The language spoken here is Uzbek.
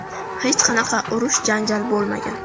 Hech qanaqa urish-janjal bo‘lmagan.